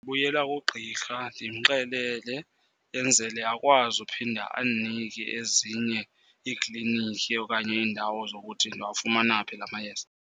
Ndibuyela kugqirha ndimxelele, yenzele akwazi uphinda andinike ezinye iikliniki okanye iindawo zokuthi ndingawafumana phi la mayeza.